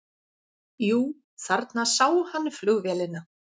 Jú, þarna sá hann flugvélina.